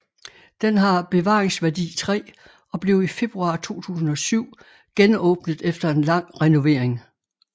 Den har bevaringsværdi 3 og blev i februar 2007 genåbnet efter en lang renovering